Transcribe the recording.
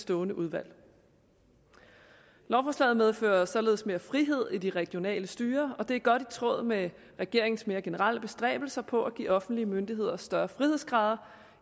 stående udvalg lovforslaget medfører således mere frihed i det regionale styre og det er godt i tråd med regeringens mere generelle bestræbelser på at give offentlige myndigheder større frihedsgrader